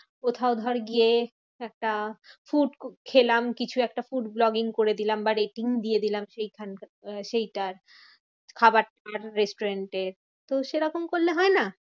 কোথাও ধর গিয়ে একটা food খেলাম, কিছু একটা food vlogging করে দিলাম বা rating দিয়ে দিলাম সেখানটা আহ সেইটার। খাবার restaurant এর তো সেরকম করলে হয় না?